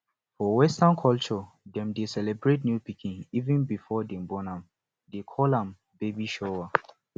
for western culture dem dey celebrate new pikin even before dem born am they call am baby shower